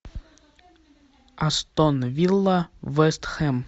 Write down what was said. астон вилла вест хэм